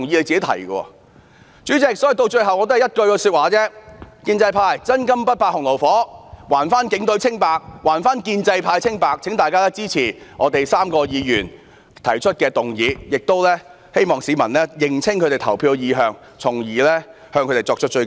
主席，說到最後我只有一句說話，建制派若"真金不怕洪爐火"，便應還警隊清白、還建制派清白，請大家支持我們3位議員提出的議案，並懇請市民認清他們的投票意向，從而向他們作出追究。